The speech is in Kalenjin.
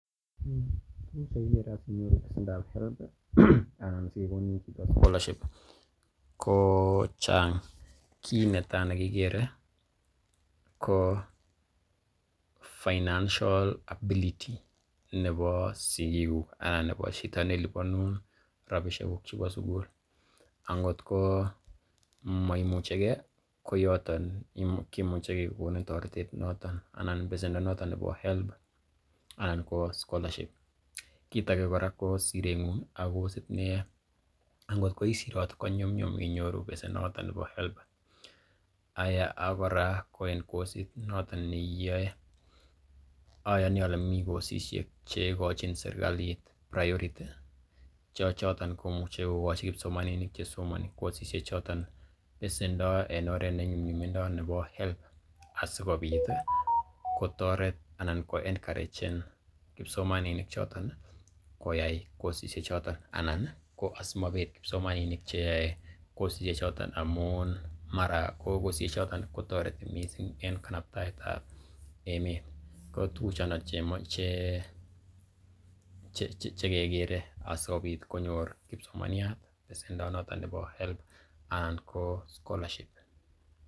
Tuguk che kigere asinyoru pesendab HELB anan sikekonin chito scholarship ko chang kiit netai ne kikere ko financial ability nebo sigikuuk anan nebo chito neliponun rabishek kuk en sugul, angotko maimuche ke, koyoton kimuche kegonin toretet noton anan besendo noton nebo HELB anan ko scholarship kiit age kora ko sireng'ung ak kosit ne iyoe, angot ko isirot konyumnyum inyoru besenoto bo HELB. Aya ak kora ko en kosit noton ne iyoe, oyoni ole mi kosishek che igochin serkalit priority che choton komuche kogochi kipsomaninik che somani kosishek choton besendo en oret nebo nyumnyumindo nebo HELB asikobit kotoret ko encouragen kipsomaninik choton koyai kosishek choton. Anan ko asikomabet kipsomaninik cheyoe kosishek choton amun mara ko kosishek choton kotoreti mising en kanaptaet ab emet. Ko tuguk chondon che kegere asikobit konyor kipsomaniat besendo noton nebo HELB anan ko scholarship